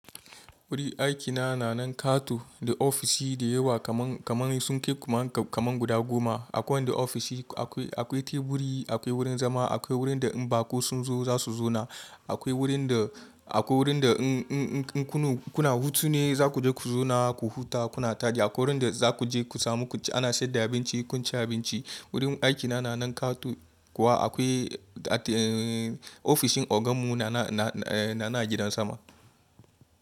Wurin aikina na nan kato da ofishi da yawa kaman, kaman sun kai kaman kaman guda goma. Akwai wanda ofishi akwai, akwai teburi akwai wurin zama akwai wurin da in baƙo sun zo za su zauna. Akwai wurin da, akwai wurin da in, in, in, kuna hutu ne zaku je ku zauna ku huta kuna taɗi. Akwai wurin da zaku je ku samu ana sayar da abinci, kun ci abinci. Wurin aiki na nan kato, kuma akwai at eh ofishin ogan mu na, na, na, eh na nan a gidan sama.